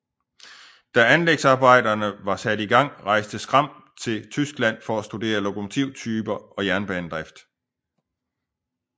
Da anlægsarbejderne var sat i gang rejste Schramm til Tyskland for at studere lokomotivtyper og jernbanedrift